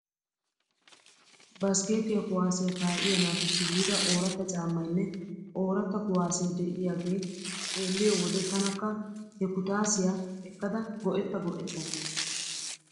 Baskeetiyaa kuwaasiyaa kaa'iyaa naatussi yiida ooratta caammaynne ooratta kuwaasee deiyaagee xeelliyoo wode tanakka he kutaasiyaa ekkada go'etta go'etta ges .